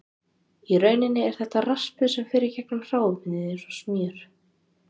Í rauninni er þetta raspur sem fer í gegnum hráefnið eins og smjör.